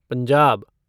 Punjab